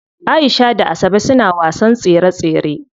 Aisha da Asabe suna wasan tsere tsere.